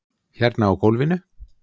Hérna á gólfinu.